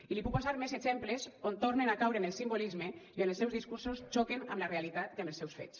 i li puc posar més exemples on tornen a caure en el simbolisme i on els seus discursos xoquen amb la realitat i amb els seus fets